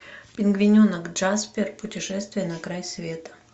пингвиненок джаспер путешествие на край света